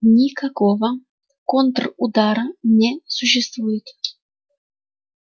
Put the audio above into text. никакого контрудара не существует